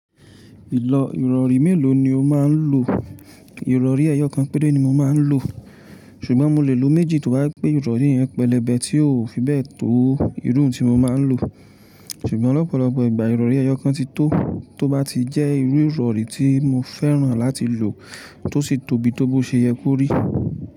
Ìlọ ìrọ̀rí mélòó ni o máa ń lò? Ìrọ̀rí ẹyọ kan péré ni mo máa ń lò, ṣùgbọ́n mo lè lo méjì tó bá je pe ìrọ̀rí yẹn pẹlẹbẹ tí ó fi bẹ́ẹ̀ tó ìrún tí mo máa ń lò. Ṣùgbọ́n lọ̀pọ̀lọpọ̀ ìgbà ìrọ̀rí ẹyọ kan ti tó, tó bá ti jẹ́ irú ìrọ̀rí tí mo fẹ́ràn láti lò tó sì tóbi tó bó ṣe ye kórí.